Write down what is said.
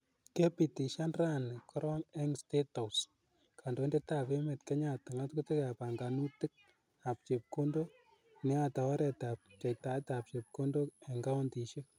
Kepitishan rani karong ing state house kandoindet ap emet Kenyatta ngatutik ap panganutik ap chepkondok ne yate oret ap pcheitap chepkondok ing kauntishek.